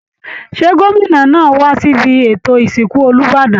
Ṣé gómìnà ńáà wá síbi ètò ìsìnkú Olúbàdàn?